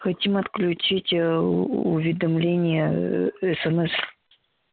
хотим отключить ээ уведомления ээ смс